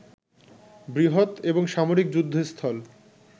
বৃহত এবং সামরিক যুদ্ধ স্থল